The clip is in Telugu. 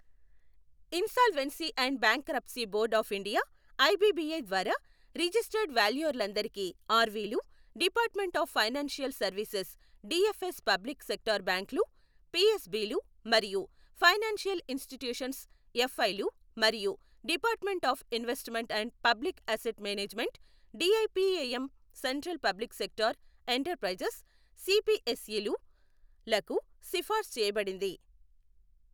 Insolvency and bankruptcy board of India IBBI ద్వారా రిజిస్టర్డ్ వాల్యూయర్లందరికీ ఆర్వీలు, department of financial services DFS public sector బ్యాంక్లు పిఎస్బిలు మరియు ఫైనాన్షియల్ ఇన్స్టిట్యూషన్స్ ఎఫ్ఐలు మరియు department of investment and public asset management DIPAM central public sector enterprises సిపిఎస్ఈలు లకు సిఫార్సు చేయబడింది.